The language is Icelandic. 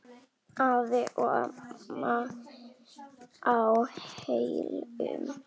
Afi og amma á Hellum.